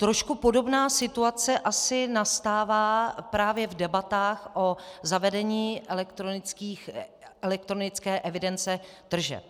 Trošku podobná situace asi nastává právě v debatách o zavedení elektronické evidence tržeb.